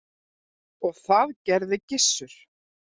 Og það gerði Gissur.